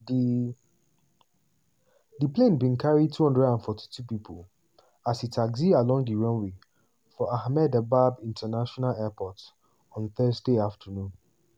di di plane bin carry 242 pipo as e taxi along di runway for ahmedabad international airport on thursday afternoon.